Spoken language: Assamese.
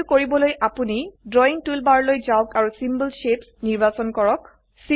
এই কৰিবলৈ আপোনি ড্ৰাৱিং টুলবাৰলৈ যাওক আৰু চিম্বল শেপছ নিৰ্বাচন কৰক